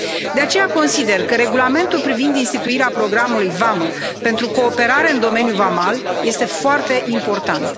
De aceea, consider că regulamentul privind instituirea programului Vamă pentru cooperare în domeniul vamal este foarte important.